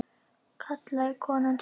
kallaði konan til okkar.